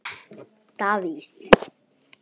Davíð